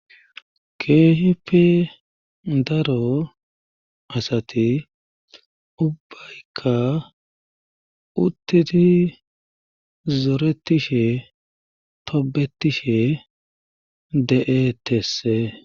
keehipe daro asati ubbaykka uttidi zoretishe tobetishe de7eettes.